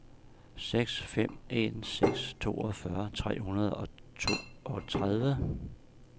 seks fem en seks toogfyrre tre hundrede og toogtredive